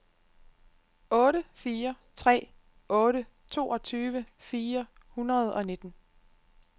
otte fire tre otte toogtyve fire hundrede og nitten